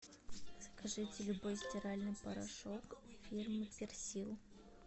закажите любой стиральный порошок фирмы персил